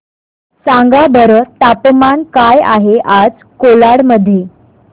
सांगा बरं तापमान काय आहे आज कोलाड मध्ये